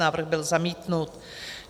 Návrh byl zamítnut.